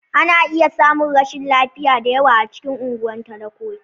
Ana iya samun rashin lafiya da yawa a cikin unguwar talakoki.